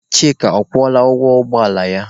Chika, ọ kwụọla ụgwọ ụgbọ ala ya?